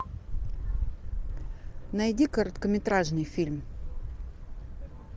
найди короткометражный фильм